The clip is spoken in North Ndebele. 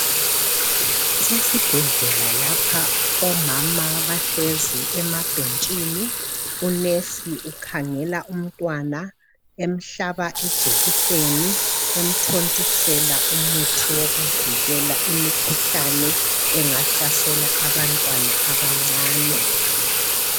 Kusesibhedlela lapha. Omama bahlezi emabhentshini. Unesi ukhangela umntwana emhlaba ijekiseni, emthontisela umuthi wokuvikela imikhuhlane engahlasela abantwana abancane.